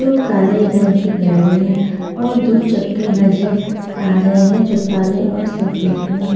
वो काले रंग की गाड़ी है और दो चक्के नज़र आ रहे है जो काले और सफेद मे है।